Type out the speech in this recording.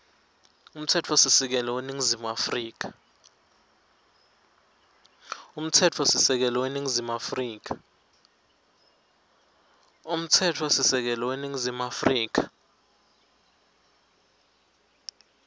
umtsetfosisekelo weningizimu afrika